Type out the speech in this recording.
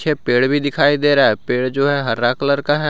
पीछे पेड़ भी दिखाई दे रहा है पेड़ जो हरा कलर का है।